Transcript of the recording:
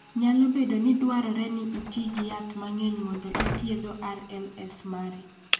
Nyalo bedo ni dwarore ni iti gi yath mang�eny mondo ithiedho RLS mari.